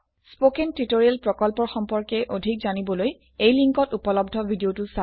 spoken tutorial প্ৰকল্পৰ সম্পৰ্কে অধিক জানিবলৈ এই লিঙ্কত উপলব্ধ ভিডিওটো চাওক